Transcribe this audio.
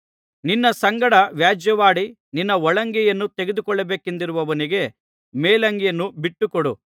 ನಿನ್ನ ಸಂಗಡ ವ್ಯಾಜ್ಯವಾಡಿ ನಿನ್ನ ಒಳಂಗಿಯನ್ನು ತೆಗೆದುಕೊಳ್ಳಬೇಕೆಂದಿರುವವನಿಗೆ ಮೇಲಂಗಿಯನ್ನೂ ಬಿಟ್ಟುಕೊಡು